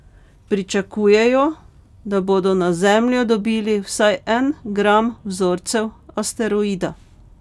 Pričakujejo, da bodo na Zemljo dobili vsaj en gram vzorcev asteroida.